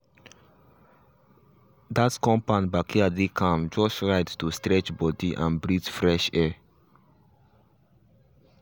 that compound backyard dey calm just right to stretch body and breathe fresh air.